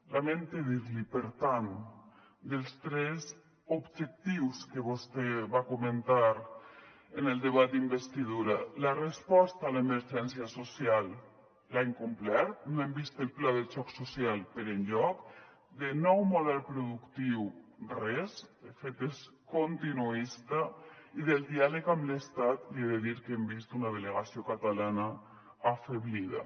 lamente dir l’hi per tant dels tres objectius que vostè va comentar en el debat d’investidura la resposta a l’emergència social l’ha incomplert no hem vist el pla de xoc social per enlloc de nou model productiu res de fet és continuista i del diàleg amb l’estat li he de dir que hem vist una delegació catalana afeblida